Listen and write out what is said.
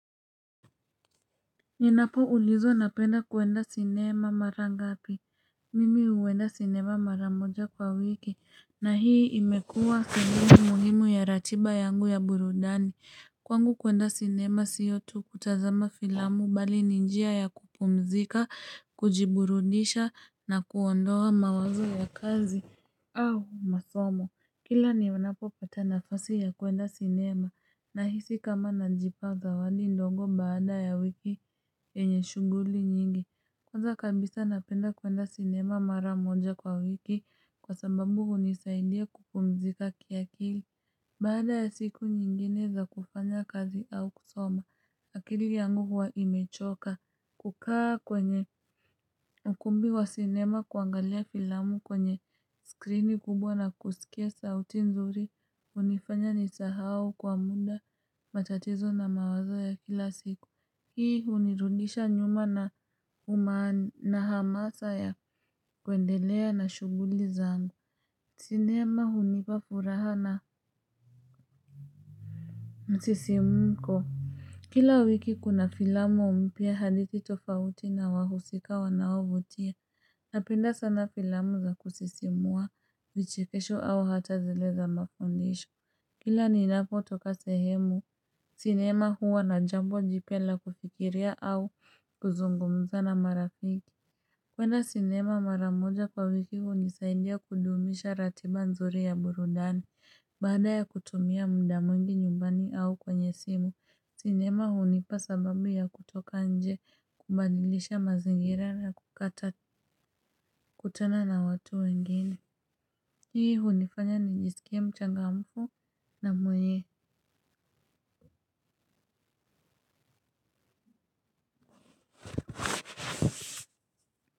Ninapoulizwa napenda kuenda sinema mara ngapi. Mimi huenda sinema mara moja kwa wiki na hii imekuwa sehemu muhimu ya ratiba yangu ya burudani. Kwangu kuenda sinema siyo tu kutazama filamu bali ni njia ya kupumzika, kujiburudisha na kuondoa mawazo ya kazi au masomo, kila ninapopata nafasi ya kuenda sinema. Nahisi kama najipa zawadi ndogo baada ya wiki yenye shughuli nyingi. Kwanza kabisa napenda kuenda sinema mara moja kwa wiki. Kwa sababu hunisaidia kupumzika kiakili. Baada ya siku nyingine za kufanya kazi au kusoma akili yangu huwa imechoka. Kukaa kwenye ukumbi wa sinema kuangalia filamu kwenye skrini kubwa na kuskia sauti nzuri hunifanya nisahau kwa muda. Matatizo na mawazo ya kila siku hii hunirudisha nyuma na hamasa ya kuendelea na shughuli zangu. Sinema hunipa furaha na msisimko. Kila wiki kuna filamu mpya hadithi tofauti na wahusika wanaovutia. Napenda sana filamu za kusisimua vichekesho au hata zile za mafundisho. Kila ninapotoka sehemu sinema huwa na jambo jipya la kufikiria au kuzungumza na marafiki. Kwenda sinema mara moja kwa wiki hunisaidia kudumisha ratiba nzuri ya burudani, baada ya kutumia mda mwingi nyumbani au kwenye simu, sinema hunipa sababu ya kutoka nje kubadilisha mazingira na kukata kutana na watu wengine. Hii hunifanya nijisikie mchangamfu na mwenye.